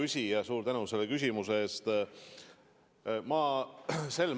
Hea küsija, suur tänu selle küsimuse eest!